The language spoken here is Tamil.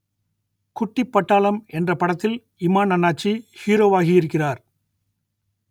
குட்டிப் பட்டாளம் என்ற படத்தில் இமான் அண்ணாச்சி ஹீரோவாகியிருக்கிறார்